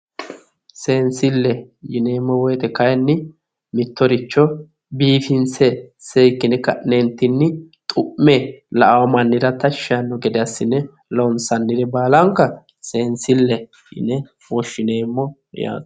Seensille yineemmo woyiite kaayiinni mittoricho biifinse seekkine ka'neentinni xu'me la'awo mannira tashshi yaanno gede assine loonsannire baalanka seensille yine woshshineemmo yaate.